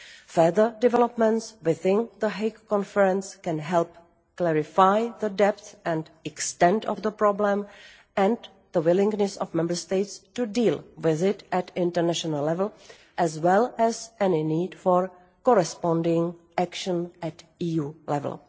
Further developments within the Hague Conference can help clarify the depth and extent of the problem and the willingness of Member States to deal with it at international level, as well as any need for corresponding action at EU level.